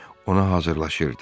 Ona hazırlayırdı.